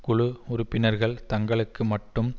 குழு உறுப்பினர்கள் தங்களுக்கு மட்டும்